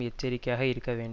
எச்சரிக்கையாக இருக்க வேண்டும்